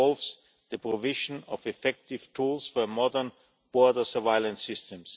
This involves the provision of effective tools for modern border surveillance systems.